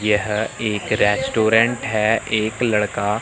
यह एक रेस्टोरेंट है एक लड़का --